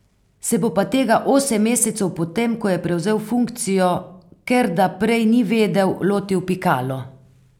Se bo pa tega osem mesecev po tem, ko je prevzel funkcijo, ker da prej ni vedel, lotil Pikalo.